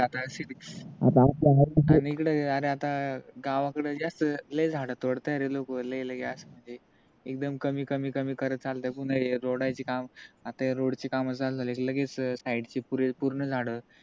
गावाकड जास्त लइ झाड तोडताय रे लोक लइलइ अस म्हणजे एकदम कमी कमी कमी करत चालतय पुन्हा हे रोडची काम आता हे रोडची काम झाल कि लगेच side पुरे पूर्ण झाड